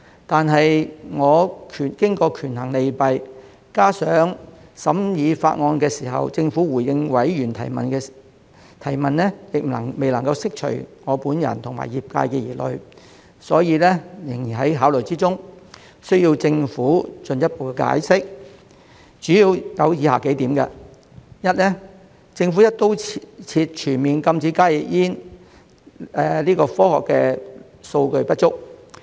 但我經過權衡利弊，加上在審議法案時，政府回應委員提問時仍未能釋除我本人及業界的疑慮，所以仍然在考慮之中，需要政府進一步解釋，主要有以下幾點：一，政府"一刀切"全面禁止加熱煙的科學數據不足。